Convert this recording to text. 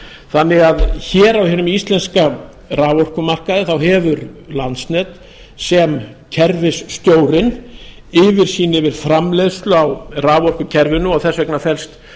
þannig að hér á hinum íslenska raforkumarkaði hefur landsnet sem kerfisstjórinn yfirsýn yfir framleiðslu á raforkukerfinu og þess vegna felst